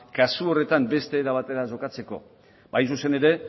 kasu horretan beste era batera jokatzeko hain zuzen ere